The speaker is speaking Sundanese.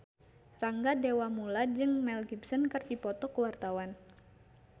Rangga Dewamoela jeung Mel Gibson keur dipoto ku wartawan